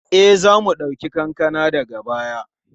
E, za mu ɗauki kankana daga baya.